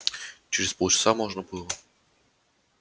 через полчаса можно было